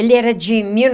Ele era de mil